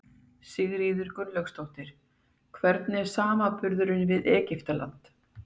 Sigríður Guðlaugsdóttir: Hvernig er samanburðurinn við Egyptaland?